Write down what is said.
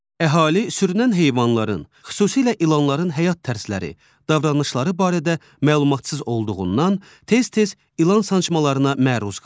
Əhali sürünən heyvanların, xüsusilə ilanların həyat tərzləri, davranışları barədə məlumatsız olduğundan tez-tez ilan sancmalarına məruz qalır.